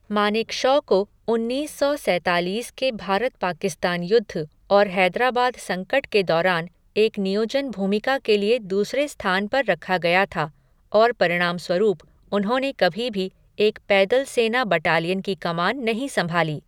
मानेकशॉ को उन्नीस सौ सैतालीस के भारत पाकिस्तान युद्ध और हैदराबाद संकट के दौरान एक नियोजन भूमिका के लिए दूसरे स्थान पर रखा गया था, और परिणामस्वरूप, उन्होंने कभी भी एक पैदल सेना बटालियन की कमान नहीं संभाली।